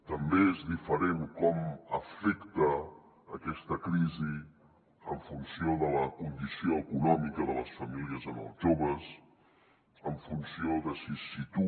també és diferent com afecta aquesta crisi en funció de la condició econòmica de les famílies en els joves en funció de si tu